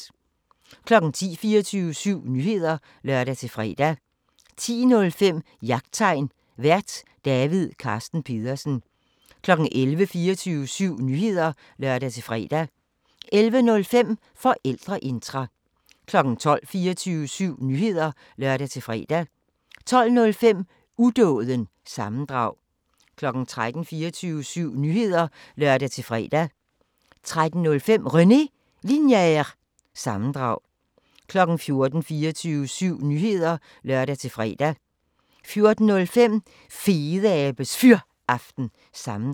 10:00: 24syv Nyheder (lør-fre) 10:05: Jagttegn Vært: David Carsten Pedersen 11:00: 24syv Nyheder (lør-fre) 11:05: Forældreintra 12:00: 24syv Nyheder (lør-fre) 12:05: Udåden – sammendrag 13:00: 24syv Nyheder (lør-fre) 13:05: René Linjer- sammendrag 14:00: 24syv Nyheder (lør-fre) 14:05: Fedeabes Fyraften – sammendrag